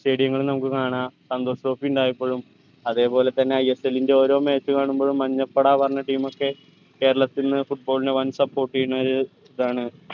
stadium ങ്ങളു നമുക്ക് കാണാ santhosh trophy ഉണ്ടായപ്പോഴും അതെ പോലെ തന്നെ ISL ന്റെ ഓരോ match കാണുമ്പോഴും മഞ്ഞപ്പട പറഞ്ഞ team ഒക്കെ കേരളത്തിന്ന് football ന് വൻ support എയ്യണൊരു ഇതാണ്